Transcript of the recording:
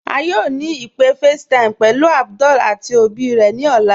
À yóò ni ìpé FaceTime pẹ̀lú Abdul àti èbí rè ni ọlá.